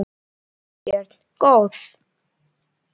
Þorbjörn: Góð?